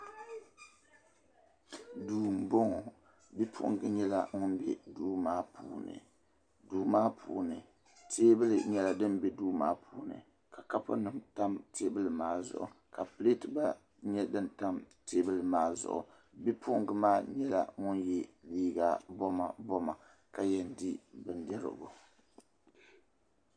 Duu m boŋɔ bi'puɣinga nyela ŋun be duu maa puuni duu maa puuni teebuli nyɛla din be duu maa puuni ka kapu nima tam teebuli maa zuɣu ka pileti nyɛla din tam teebuli maa zuɣu bi'puɣinga maa nyɛla ŋun ye liiga boma boma ka yen di bindirigu.